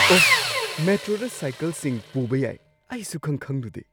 ꯑꯣ! ꯃꯦꯇ꯭ꯔꯣꯗ ꯁꯥꯏꯀꯜꯁꯤꯡ ꯄꯨꯕ ꯌꯥꯏ꯫ ꯑꯩ ꯁꯨꯛꯈꯪ-ꯈꯪꯂꯨꯗꯦ꯫